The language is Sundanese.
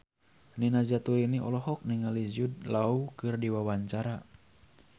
Nina Zatulini olohok ningali Jude Law keur diwawancara